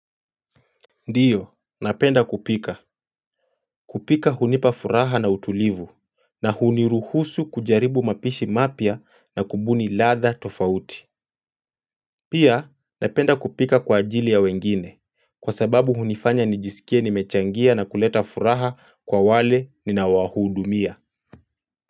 Ndiyo, napenda kupika. Kupika hunipa furaha na utulivu. Na huniruhusu kujaribu mapishi mapya na kubuni latha tofauti. Pia, napenda kupika kwa ajili ya wengine. Kwa sababu hunifanya nijisikie nimechangia na kuleta furaha kwa wale ninao wahudumia.